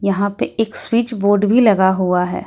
यहां पे एक स्विच बोर्ड भी लगा हुआ।